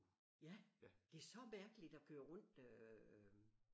Ja det er så mærkeligt at køre rundt øh